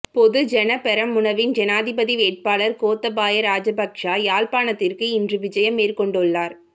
பொதுஜன பெரமுனவின் ஜனாதிபதி வேட்பாளர் கோத்தபாய ராஜபக்ச யாழ்ப்பாணத்திற்கு இன்று விஜயம் மேற்கொண்டுள்ளார்